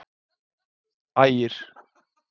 Helsta fæða þeirra er álar og aðrir mjóir fiskar.